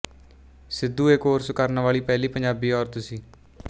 ਸਿੱਧੂ ਇਹ ਕੋਰਸ ਕਰਨ ਵਾਲੀ ਪਹਿਲੀ ਪੰਜਾਬੀ ਔਰਤ ਸੀ